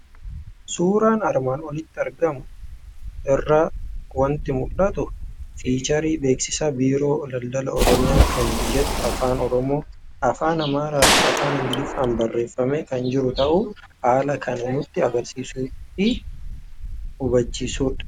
Suuraa armaan olitti argamu irraa waanti mul'atu; fiicharii beeksisaa Biiroo Daldalaa Oromiyaa kan jedhu afaan oromoo, afaan amaaraafi afaan ingiliffadhan barreeffame kan jiru ta'uu haalan kan nutti agarsiisufi nu hubachiisudha.